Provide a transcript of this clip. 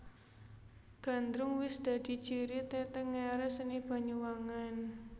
Gandrung wis dadi ciri tetengeré seni Banyuwangen